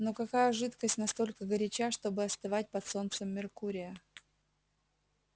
но какая жидкость настолько горяча чтобы остывать под солнцем меркурия